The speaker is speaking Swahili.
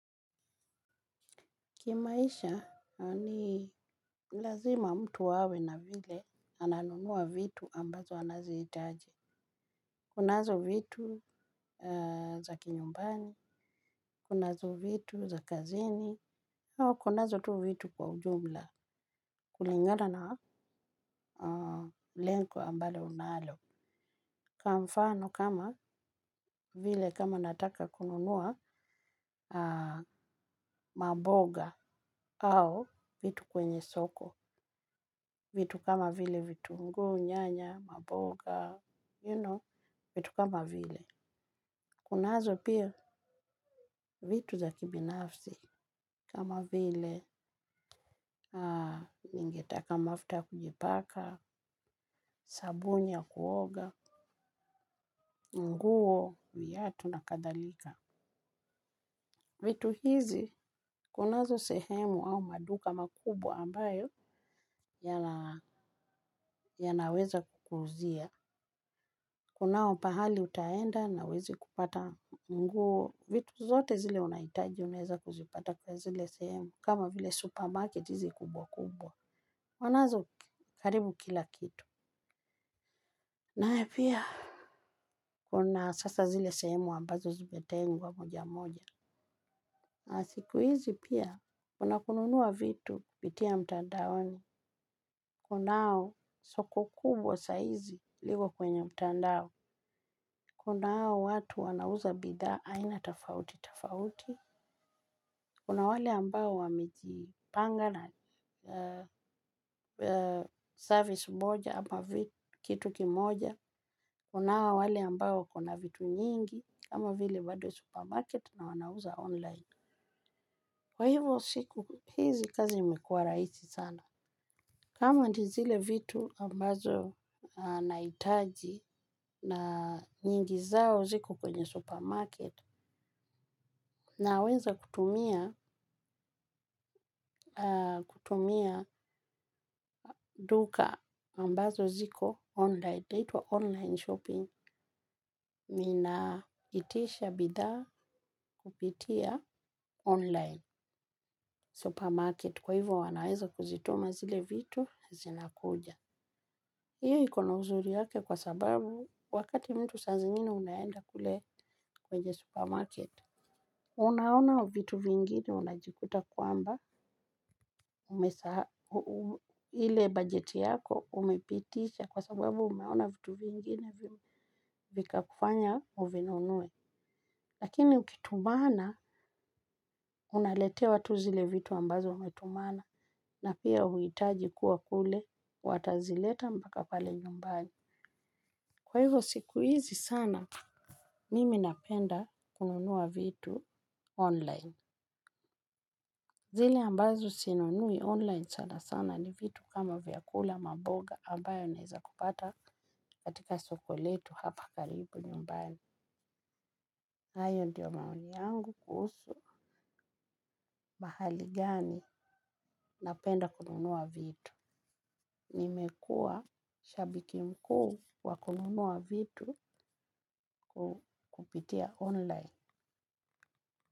Kimaisha ni lazima mtu awe na vile ananunua vitu ambazo anazihitaji. Kunazo vitu za kinyumbani, kunazo vitu za kazini, ama kunazo tu vitu kwa ujumla kulingana na lengo ambalo unalo. Kwa mfano kama vile kama nataka kununua maboga au vitu kwenye soko. Vitu kama vile vitunguu nyanya, maboga, you know, vitu kama vile. Kunazo pia vitu za kibinafsi kama vile ningetaka mafuta ya kujipaka, sabuni ya kuoga, nguo viatu na kadhalika. Vitu hizi kunazo sehemu au maduka makubwa ambayo ya naweza kukuuzia. Kunao pahali utaenda na huwezi kupata nguo. Vitu zote zile unahitaji unaeza kuzipata kwa zile sehemu kama vile supermarket hizi kubwa kubwa. Wanazo karibu kila kitu. Na haya pia. Kuna sasa zile sehemu ambazo zimetengwa moja moja. Na siku hizi pia kuna kununua vitu kupitia mtandaoni. Kunao soko kubwa saizi liko kwenye mtandao. Kunao watu wanauza bidhaa aina tofauti tofauti. Kuna wale ambao wamejipanga service moja ama kitu kimoja. Kunao wale ambao wako na vitu nyingi kama vile bado supermarket na wanauza online. Kwa hivyo siku, hizi kazi mekuwa rahisi sana. Kama ndi zile vitu ambazo naitaji na nyingi zao ziko kwenye supermarket naweza kutumia duka ambazo ziko online. Itaitwa online shopping ninaitisha bidhaa kupitia online supermarket kwa hivyo wanaweza kuzituma zile vitu zinakuja. Iyo iko na uzuri yake kwa sababu wakati mtu saa zingine unaenda kule kwenye supermarket. Unaona vitu vingine unajikuta kwamba umesa ile bajeti yako umepitisha kwa sababu umeona vitu vingine vika kufanya uvinunue. Lakini ukitumana unaletewa tu zile vitu ambazo umetumana na pia huhitaji kuwa kule watazileta mpaka pale nyumbani. Kwa hivyo siku hizi sana nimi napenda kununua vitu online. Zile ambazo sinunui online sana sana ni vitu kama vyakula maboga ambayo naeza kupata katika soko letu hapa karibu nyumbani. Hayo ndiyo maoni yangu kuhusu mahali gani napenda kununua vitu. Nimekuwa shabiki mkuu wa kununua vitu kupitia online.